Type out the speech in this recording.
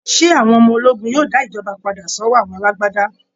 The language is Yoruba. ṣé àwọn ọmọ ológun yóò dá ìjọba padà sọ́wọ́ àwọn alágbádá?